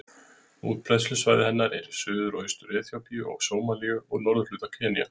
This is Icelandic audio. Útbreiðslusvæði hennar er í Suður- og Austur-Eþíópíu, Sómalíu og norðurhluta Kenýa.